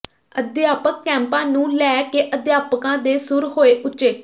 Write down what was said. ਅਧਿਆਪਕ ਕੈਂਪਾਂ ਨੂੰ ਲੈ ਕੇ ਅਧਿਆਪਕਾਂ ਦੇ ਸੁਰ ਹੋਏ ਉੱਚੇ